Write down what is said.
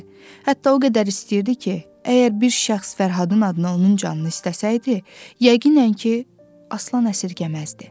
Hətta o qədər istəyirdi ki, əgər bir şəxs Fərhadın adına onun canını istəsəydi, yəqinən ki, Aslan əsirgəməzdi.